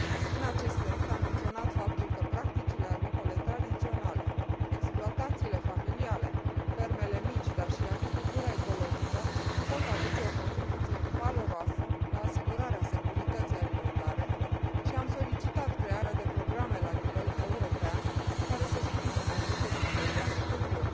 În acest sens, am menționat faptul că practicile agricole tradiționale, exploatațiile familiale, fermele mici, dar și agricultura ecologică pot aduce o contribuție valoroasă la asigurarea securității alimentare și am solicitat crearea de programe la nivel european, care să sprijine aceste tipuri de agricultură.